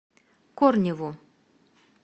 корневу